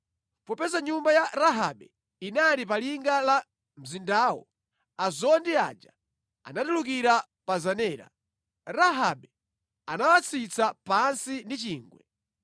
Popeza nyumba ya Rahabe inali pa linga la mzindawo, azondi aja anatulukira pa zenera. Rahabe anawatsitsa pansi ndi chingwe.